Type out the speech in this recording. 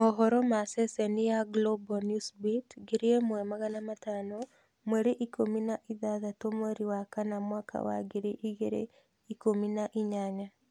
Mohoro ma ceceni ya Global Newsbeat 1500 mweri ikũmi na ithathatũ mweri wa kana mwaka wa ngiri igĩrĩ ikumi na inyanya